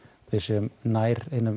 við séum nær hinum